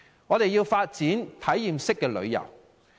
我們要發展體驗式旅遊。